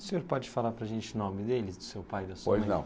O senhor pode falar para a gente o nome deles, do seu pai e da sua mãe? Pois não